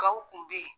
Gaw kun bɛ yen